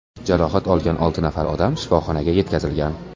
Jarohat olgan olti nafar odam shifoxonaga yetkazilgan.